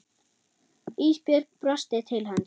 Ísbjörg brosti til hans.